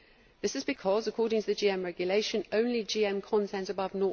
This is because, according to the GM regulation, only GM content above